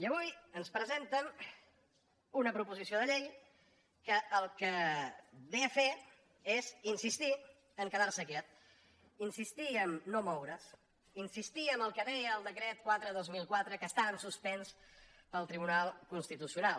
i avui ens presenten una proposició de llei que el que ve a fer és insistir a quedar se quiet insistir a no moure’s insistir en el que deia el decret quatre dos mil quatre que està en suspens pel tribunal constitucional